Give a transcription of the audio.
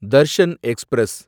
Darshan express